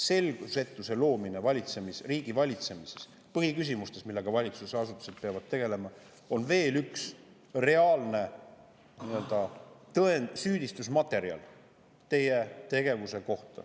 Selgusetuse loomine riigi valitsemises, põhiküsimustes, millega valitsusasutused peavad tegelema, on veel üks reaalne tõend teie tegevuse kohta, süüdistusmaterjal.